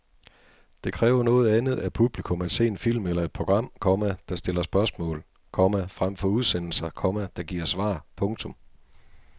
Det kræver noget andet af publikum at se en film eller et program, komma der stiller spørgsmål, komma frem for udsendelser, komma der giver svar. punktum